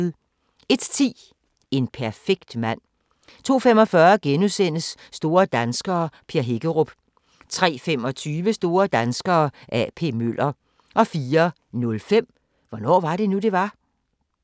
01:10: En perfekt mand 02:45: Store danskere - Per Hækkerup * 03:25: Store danskere – A.P. Møller 04:05: Hvornår var det nu, det var?